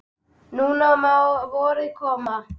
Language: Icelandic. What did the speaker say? Nú má vorið koma.